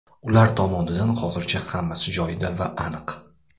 Ular tomonidan hozircha hammasi joyida va aniq.